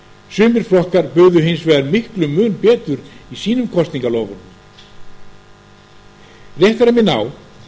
sumir flokkar buðu hins vegar miklum mun betur í sínum kosningaloforðum rétt er að minna á